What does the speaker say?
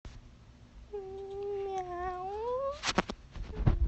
мяу